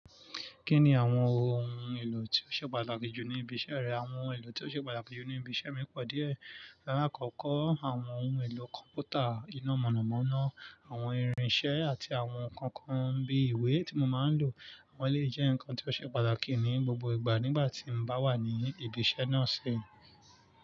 Kí ni àwọn ohun èlò tí ó ṣe pàtàkì jù ní ibi iṣẹ́ rẹ? Àwọn ohun èlò tí ó ṣe pàtàkì jù ní ibi iṣẹ́ mi pọ̀ díẹ̀. Lálá, kọ́kọ́ àwọn ohun èlò kọ̀m̀pútà iná mọ̀nàmọ́ná, àwọn irinṣẹ́ àti àwọn ǹkan kan bí ìwé tí mo máa ń lò. Àwọn èléyi jẹ́ ǹkan tí ó ṣe pàtàkì ní gbogbo ìgbà nígbà tí mo bá wà ní ibi iṣẹ́ náà ṣi.